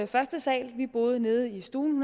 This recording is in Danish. første sal vi boede nede i stuen